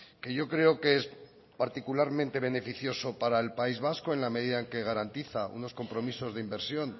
que yo creo que es particularmente beneficioso para el país vasco en la medida en que garantiza unos compromisos de inversión